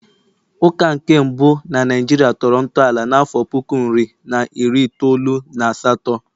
Ụka nke mbụ na Naijiria tọrọ ntọala n'afọ otu puku nri na iri itoolu na asatọ